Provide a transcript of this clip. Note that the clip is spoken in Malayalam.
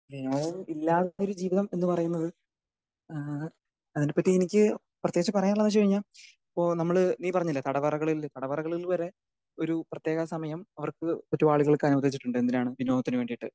വിനോദം ഇല്ലാത്ത ഒരു ജീവിതം എന്ന് പറയുന്നത് ഏഹ് അതിനെ പറ്റി എനിക്ക് പ്രതേകിച്ചു പറയാനുള്ളത് എന്തെന്ന് വെച്ച് കഴിഞ്ഞാൽ ഇപ്പൊ നമ്മള് നീ പറഞ്ഞില്ലെ തടവറകളില് തടവറകളിൽ ഇത് വരെ ഒരു പ്രതേക സമയം അവർക്ക് ചുറ്റുപാടുകൾക്ക് അനുവദിച്ചിട്ടുണ്ട്. എന്തിനാണ് വിനോദത്തിന് വേണ്ടീട്ട്.